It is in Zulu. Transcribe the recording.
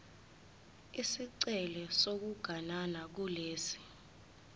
isicelo sokuganana kulesi